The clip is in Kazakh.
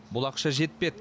бұл ақша жетпеді